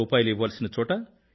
100 ఇవ్వాల్సిన చోట రూ